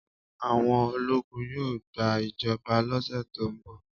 Àwọn ológun yóò gba ìjọba lọ́sẹ̀ tó ń bọ̀.